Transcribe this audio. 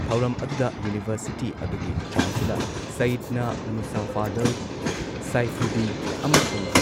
ꯊꯧꯔꯝ ꯑꯗꯨꯨꯗ ꯌꯨꯅꯤꯚꯔꯁꯤꯇꯤ ꯑꯗꯨꯒꯤ ꯆꯥꯟꯁꯦꯂꯔ ꯁꯌꯤꯗꯅ ꯃꯨꯁꯥꯐꯥꯗꯜ ꯁꯥꯏꯐꯨꯗꯤ ꯑꯃꯁꯨꯡ